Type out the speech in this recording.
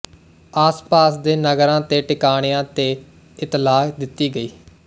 ਆਸਪਾਸ ਦੇ ਨਗਰਾਂ ਤੇ ਟਿਕਾਣਿਆਂ ਤੇ ਇਤਲਾਹ ਦਿੱਤੀ ਗਈ